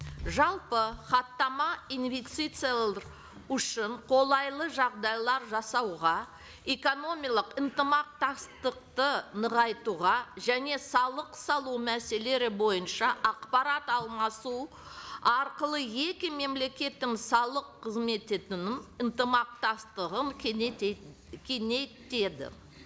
жалпы хаттама үшін қолайлы жағдайлар жасауға ынтымақтастықты нығайтуға және салық салу мәселелері бойынша ақпарат алмасу арқылы екі мемлекеттің салық қызмет ынтымақтастығын кеңейтеді